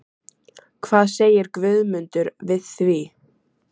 Hvað segir Guðmundur við því?